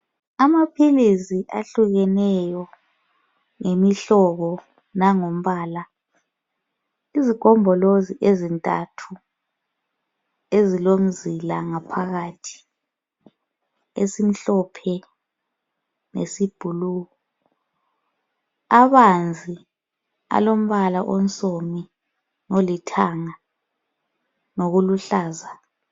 Amaphilisi ahlukeneyo lemihlobo langombala . Izigombolozi ezintathu ezilomzila ngaphakathi esimhlophe lesiyi blue. Abanzi alombala onsomi olithanga lokuluhlaza.